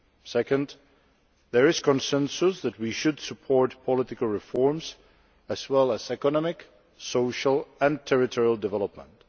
Secondly, there is consensus that we should support political reforms as well as economic, social and territorial development.